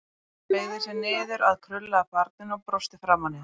Hann beygði sig niður að krullaða barninu og brosti framan í það.